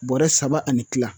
Bɔrɛ saba ani kila